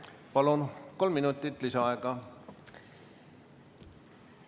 Palun, kolm minutit lisaaega!